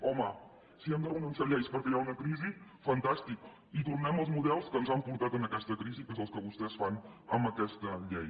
home si hem de renunciar a lleis perquè hi ha una crisi fantàstic i tornem als models que ens han portat a aquesta crisi que és el que vostès fan amb aquesta llei